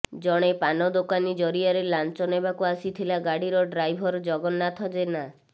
ଜଣେ ପାନ ଦୋକାନୀ ଜରିଆରେ ଲାଞ୍ଚ ନେବାକୁ ଆସିଥିଲା ଗାଡ଼ିର ଡ୍ରାଇଭର ଜଗନ୍ନାଥ ଜେନା